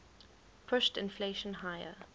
pushed inflation higher